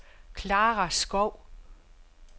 Clara Skov